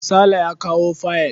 Sale ya kawo fayil.